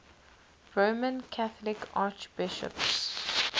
roman catholic archbishops